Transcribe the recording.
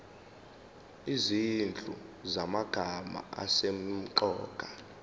izinhlu zamagama asemqoka